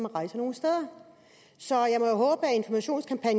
rejser nogle steder så